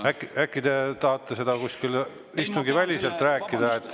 Äkki te tahate seda istungiväliselt rääkida?